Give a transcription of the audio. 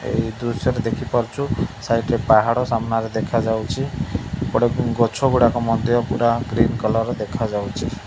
ଏଇ ଦୃଶ୍ୟ ଟି ଦେଖିପାରୁଚୁ ସାଇଟ ରେ ପାହାଡ ସାମ୍ମାନରେ ଦେଖାଯାଉଚି ଏପଟେ ଗ ଗଛ ଗୁଡାକ ମଧ୍ୟ ପୂରା ଗ୍ରୀନ କଲର୍ ର ଦେଖାଯାଉଚି।